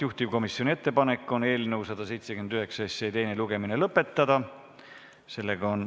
Juhtivkomisjoni ettepanek on eelnõu 179 teine lugemine lõpetada.